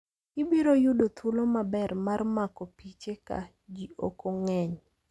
Ibiro yudo thuolo maber mar mako piche ka ji ok ng'eny.